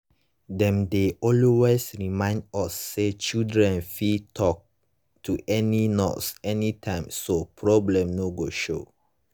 dem dey always remind us say children fit talk to any nurse anytime so problem no go show.